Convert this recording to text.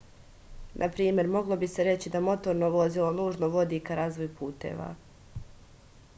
na primer moglo bi se reći da motorno vozilo nužno vodi ka razvoju puteva